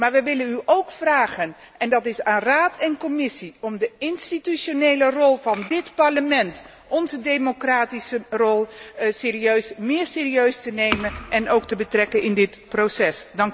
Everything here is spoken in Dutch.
Maar we willen u ook vragen en dat is aan Raad en Commissie om de institutionele rol van dit Parlement, onze democratische rol, serieuzer te nemen en ook te betrekken in dit proces.